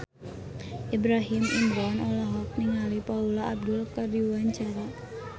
Ibrahim Imran olohok ningali Paula Abdul keur diwawancara